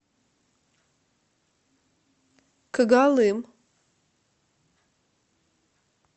когалым